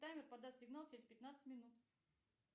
таймер подаст сигнал через пятнадцать минут